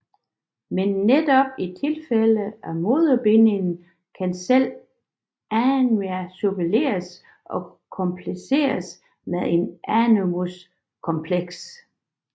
Men netop i tilfælde af en moderbinding kan selve anima suppleres og komplimenteres med et animus kompleks